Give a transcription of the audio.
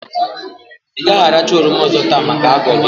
I gaghi arakwa oroma ozo taa maka ago gi